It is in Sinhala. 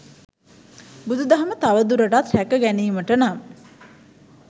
බුදු දහම තව දුරටත් රැක ගැනීමට නම්